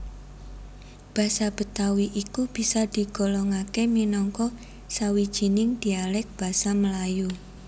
Basa Betawi iku bisa digolongaké minangka sawijining dialèk Basa Melayu